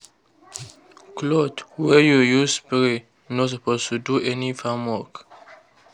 cloth wey you use spray no suppose do any other farm work.